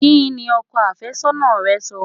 Kí ni ọkọ àfẹ́sọ́nà rẹ́ sọ?